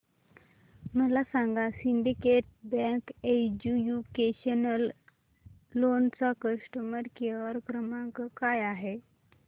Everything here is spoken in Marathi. मला सांगा सिंडीकेट बँक एज्युकेशनल लोन चा कस्टमर केअर क्रमांक काय आहे